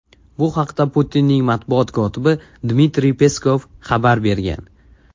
Bu haqda Putinning matbuot kotibi Dmitriy Peskov xabar bergan .